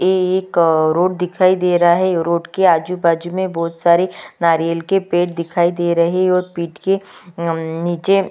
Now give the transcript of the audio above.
एक रोड़ दिखाई दे रहा है रोड के आजू-बाजू में बहुत सारे नारियल के पेड़ दिखाई दे रहे और पीठ के नम नीचे --